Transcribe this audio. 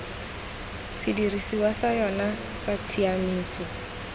sedirisiwa sa yona sa tshiamiso